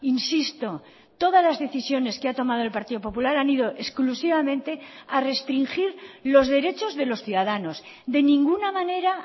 insisto todas las decisiones que ha tomado el partido popular han ido exclusivamente a restringir los derechos de los ciudadanos de ninguna manera